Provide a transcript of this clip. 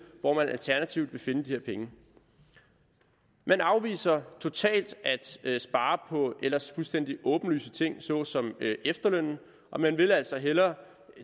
hvor man alternativt vil finde de her penge man afviser totalt at spare på ellers fuldstændig åbenlyse ting såsom efterlønnen og man vil altså hellere